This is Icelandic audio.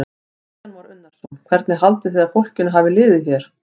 Kristján Már Unnarsson: Hvernig haldið þið að fólkinu hafi liðið hérna?